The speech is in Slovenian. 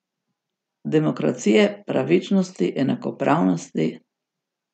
Demokracije, pravičnosti in enakopravnosti?